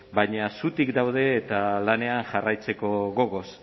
baina zutik daude eta lanean jarraitzeko gogoz